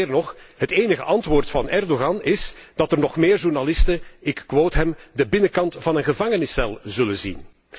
Meer nog, het enige antwoord van Erdogan is dat er nog meer journalisten, ik citeer, de binnenkant van een gevangeniscel zullen zien.